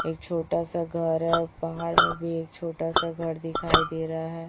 एक छोटा सा घर है और पहाड़ में भी एक छोटा सा घर दिखाई दे रहा है।